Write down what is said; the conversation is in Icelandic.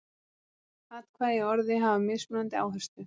Atkvæði í orði hafa mismunandi áherslu.